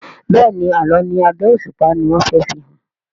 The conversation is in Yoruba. Béèni Àlọ ní abé òṣùpá ní wón fè fihàn.